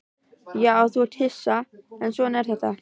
Já, þú ert hissa, en svona er þetta.